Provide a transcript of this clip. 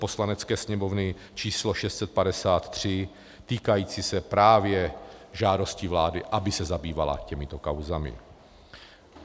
Poslanecké sněmovny číslo 653 týkající se právě žádosti vlády, aby se zabývala těmito kauzami.